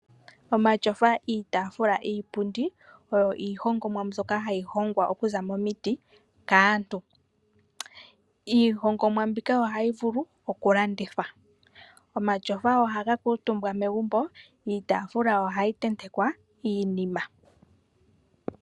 Omatyofa, iipundi, iitafula oyo iihongomwa mbyoka hayi hongwa momiti. Iihongomwa mbika ohayi vulu okulandithwa. Omatyofa ohaga kuutumbwa megumbo iitafula ohayi tentekwa iinima.